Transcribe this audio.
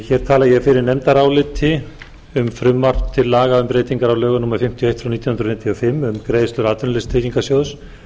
hér tala ég fyrir nefndaráliti um frumvarp til laga um breytingar á lögum númer fimmtíu og eitt nítján hundruð fimmtíu og fimm um greiðslur atvinnuleysistryggingasjóðs